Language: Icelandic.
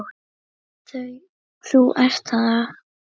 Þú ert þá?